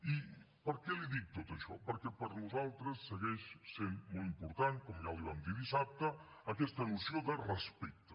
i per què li dic tot això perquè per nosaltres segueix sent molt important com ja li vam dir dissabte aquesta noció de respecte